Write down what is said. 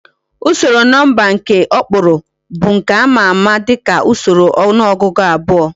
Usoro nomba nke okpuru bu nke ama ama dika usoro onuogugu abuo